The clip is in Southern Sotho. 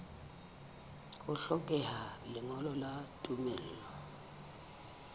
ho hlokeha lengolo la tumello